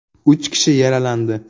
Uch kishi yaralandi.